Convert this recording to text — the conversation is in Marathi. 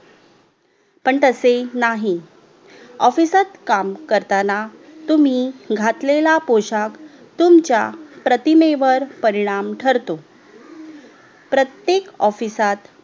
पण तसे नाही OFFICE सात काम करतांना तुम्ही घातलेला पोशाख तुमच्या प्रतिमेवर परिणाम ठरतो प्रत्तेक ऑफिसात